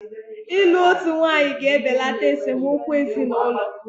Ịlụ otu nwaanyị ga-ebelata esemokwu ezinụlọ.